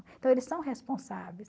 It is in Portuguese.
Então, eles são responsáveis.